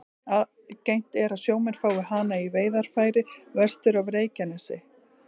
Algengt er að sjómenn fái hana í veiðarfæri vestur af Reykjanesi.